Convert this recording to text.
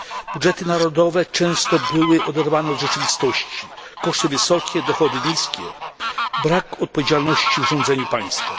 Budżety narodowe często były oderwane od rzeczywistości koszty wysokie, dochody niskie, brak odpowiedzialności w rządzeniu państwem.